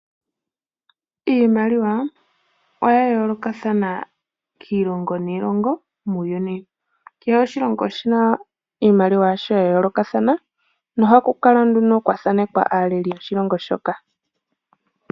Iimaliwa oya yoolokathana kiilongo niilongo, muuyuni. Kehe oshilongo oshi na iimaliwa yasho ya yoolokathana, nohaku kala nduno kwa thaanekwa aaleli yoshilongo shoka.